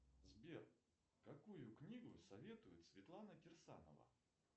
сбер какую книгу советует светлана кирсанова